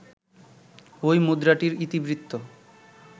ঐ মুদ্রাটির ইতিবৃত্ত